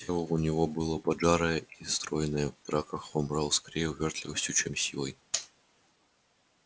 тело у него было поджарое и стройное в драках он брал скорее увёртливостью чем силой